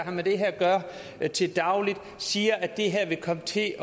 at gøre til daglig siger at det her vil komme til at